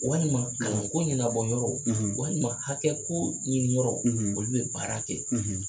Walima kalan ko ɲɛnabɔ yɔrɔ, , walima hakɛ ko ɲinin yɔrɔ, , olu bɛ baara kɛ yen.